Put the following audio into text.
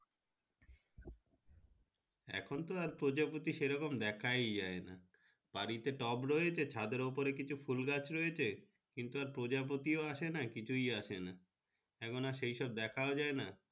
এখন তো আর প্রজাপতি তেমন দেখাই যাই না বাড়ি তে টব রয়েছে বাড়ি ছাদে কিছু ফুল গাছ রয়েছে কিন্তু আর প্রজাপতি আসে না আর কিছু আসে না এখন এই সেই সব দেখা যাই না।